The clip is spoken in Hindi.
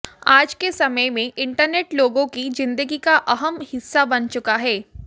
आज के समय में इंटरनेट लोगों की जिन्दगी का अहम हिस्सा बन चुका है